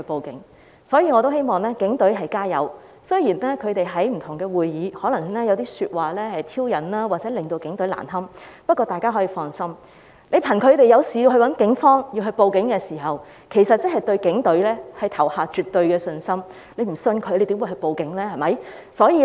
因此，我希望警隊加油，雖然反對派可能在不同的會議上說出一些挑釁的話或令警隊難堪，不過大家可以放心，他們遇事便報案找警方幫忙，即是對警隊投下絕對信任的一票，如果不相信警方又怎會報案呢？